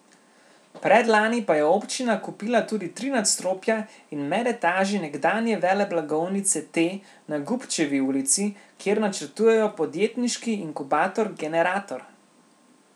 Predlani pa je občina kupila tudi tri nadstropja in medetaži nekdanje veleblagovnice T na Gubčevi ulici, kjer načrtujejo podjetniški inkubator Generator.